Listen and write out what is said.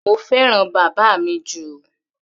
Mo fẹ́ràn bàbá mi jù.